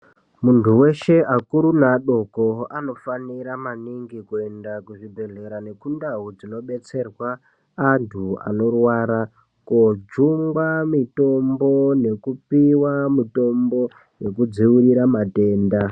Muntu weshe akuru neadoko anofanira maningi kuenda kuzvibhedhlera, nekundau dzinobetserwa antu anorwara kuti koojungwa mitombo, nekupiwa mitombo yekudziirira matenda.